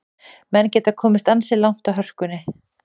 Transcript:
Menn geta komist ansi langt á hörkunni.